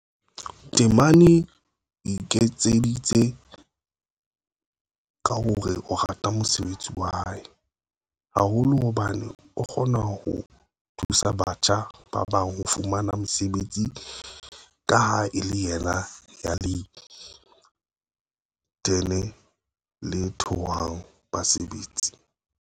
Temane o ekeditse ka hore o rata mosebetsi wa hae, haholo hobane o kgona ho thusa batjha ba bang ho fumana mesebetsi ka ha e le yena ya le-inthene le thaothang basebetsi.